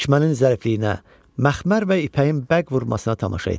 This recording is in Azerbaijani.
Tikmənin zərifliyinə, məxmər və ipəyin bəq vurmasına tamaşa etdi.